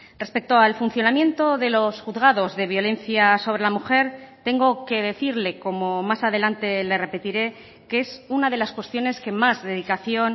respecto al funcionamiento de los juzgados de violencia sobre la mujer tengo que decirle como más adelante le repetiré que es una de las cuestiones que más dedicación